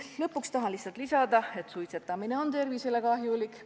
Lõpuks tahan lihtsalt märkida, et suitsetamine on tervisele kahjulik.